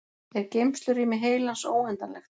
er geymslurými heilans óendanlegt